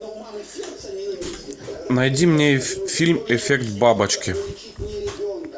найди мне фильм эффект бабочки